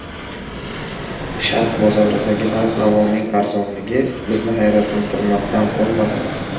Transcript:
Sharq bozoridagi narx-navoning arzonligi bizni hayratlantirmasdan qolmadi.